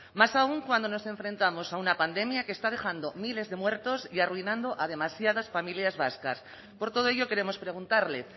más aún cuando nos enfrentamos a una pandemia que está dejando miles de muertos y arruinando a demasiadas familias vascas por todo ello queremos preguntarle